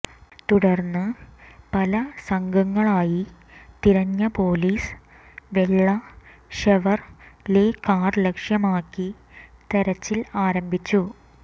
തുടർന്ന് പല സംഘങ്ങളായി തിരിഞ്ഞ പൊലീസ് വെള്ള ഷെവർലെ കാർ ലക്ഷ്യമാക്കി തെരച്ചിൽ ആരംഭിച്ചു